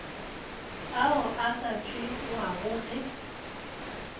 ao a ka tšewago ge